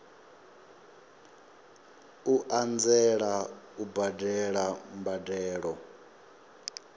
u anzela u badela mbadelo